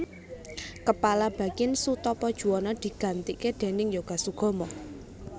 Kepala Bakin Soetopo Juwono digantike déning Yoga Sugama